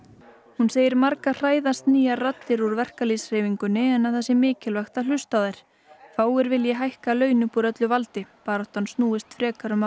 hún segir marga hræðast nýjar raddir úr verkalýðshreyfingunni en það sé mikilvægt að hlusta á þær fáir vilji hækka laun upp úr öllu valdi baráttan snúist frekar um að